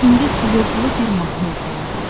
Və indi sızıltılı bir mahnı oxuyurdu.